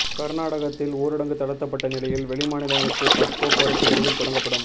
கர்நாடகத்தில் ஊரடங்கு தளர்த்தப்பட்ட நிலையில் வெளிமாநிலங்களுக்கு பஸ் போக்குவரத்து விரைவில் தொடங்கப்படும்